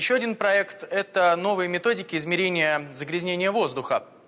ещё один проект это новые методики измерения загрязнения воздуха